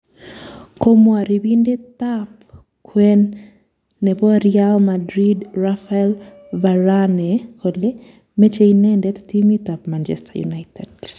komwa riibindet ab kwen nebo Real Madrin Raphael Varane kole, meche inendet timit ab Manchester United